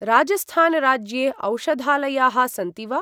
राजस्थान राज्ये औषधालयाः सन्ति वा?